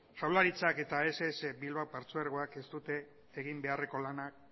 jaurlaritzak eta ess bilbao partzuergoak ez dute egin beharreko lana